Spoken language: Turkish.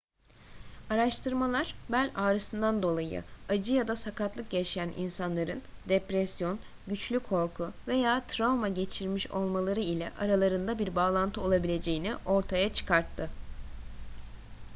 araştırmalar bel ağrısından dolayı acı ya da sakatlık yaşayan insanların depresyon güçlü korku veya travma geçirmiş olmaları ile aralarında bir bağlantı olabileceğini ortaya çıkarttı